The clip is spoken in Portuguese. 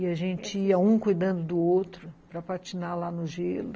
E a gente ia, um cuidando do outro, para patinar lá no gelo.